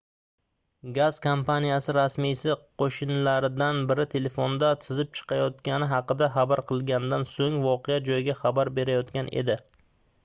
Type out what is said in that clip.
gaz kompaniyasi rasmiysi qoʻshnilaridan biri telefonda sizib chiqayotgani haqida xabar qilganidan soʻng voqea joyiga xabar berayotgan edi